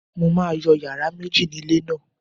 Mo máa yọ yàrá méjì ni ilé náà